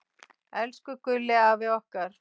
Elsku Gulli afi okkar.